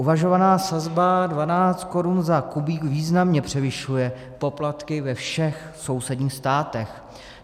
Uvažovaná sazba 12 korun za kubík významně převyšuje poplatky ve všech sousedních státech.